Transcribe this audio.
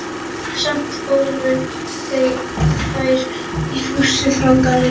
Samt fóru þær í fússi frá Gallerí